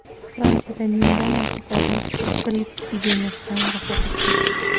Fransiyada mingdan ortiq odam gripp epidemiyasidan vafot etdi.